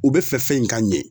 U bɛ fɛ fɛn in ka ɲɛ.